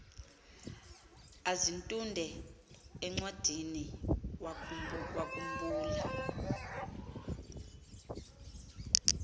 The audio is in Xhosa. azitunde encwadiniwakhu mbula